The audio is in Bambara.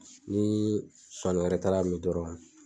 Ni Zonzanni wɛrɛ taara mi dɔrɔn.